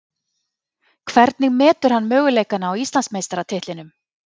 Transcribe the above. Hvernig metur hann möguleikana á Íslandsmeistaratitlinum?